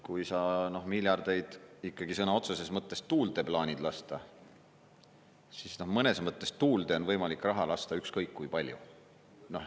Kui sa miljardeid ikkagi sõna otseses mõttes tuulde plaanid lasta, siis mõnes mõttes tuulde on võimalik raha lasta ükskõik kui palju.